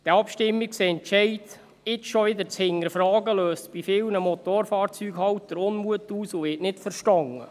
Diesen Abstimmungsentscheid jetzt schon wieder zu hinterfragen, löst bei vielen Motorfahrzeughaltern Unmut aus und wird nicht verstanden.